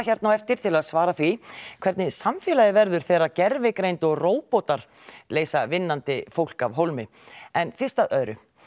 hérna á eftir til að svara því hvernig samfélagið verður þegar gervigreind og róbótar leysa vinnandi fólk af hólmi en fyrst að öðru